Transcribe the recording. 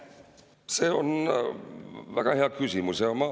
See on väga hea küsimus.